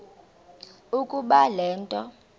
ukuba le nto